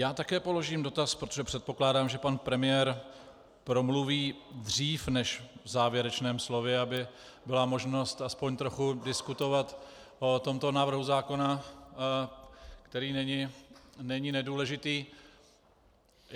Já také položím dotaz, protože předpokládám, že pan premiér promluví dřív než v závěrečném slově, aby byla možnost aspoň trochu diskutovat o tomto návrhu zákona, který není nedůležitý.